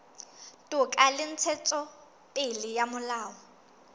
toka le ntshetsopele ya molao